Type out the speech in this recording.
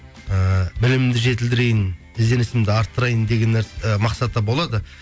ііі білімімді жетілдірейін ізденісімді арттырайын деген і мақсат та болады